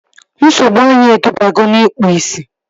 Nsogbu anya edubago n'ikpu ị̀sị̀